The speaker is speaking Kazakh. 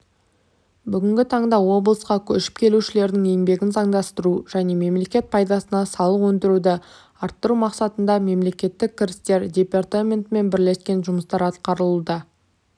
бүгінгі таңда облысқа көшіп келушілердің еңбегін заңдастыру және мемлекет пайдасына салық өндіруді арттыру мақсатында мемлекеттік кірістер департаментімен бірлескен жұмыстар атқарылуда